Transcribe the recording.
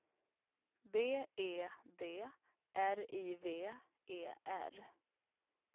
B E D R I V E R